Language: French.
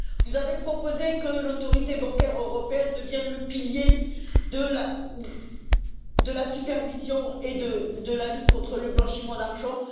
Vous avez proposé que l'Autorité bancaire européenne devienne le pilier de la supervision et de la lutte contre le blanchiment d'argent.